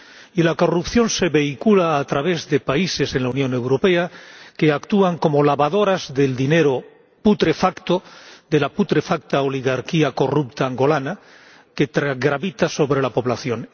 Y la corrupción se vehicula a través de países en la Unión Europea que actúan como lavadoras del dinero putrefacto de la putrefacta oligarquía corrupta angoleña que gravita sobre la población.